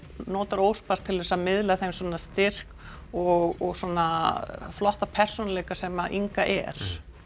notar óspart til þess að miðla þeim styrk og flotta persónuleika sem Inga er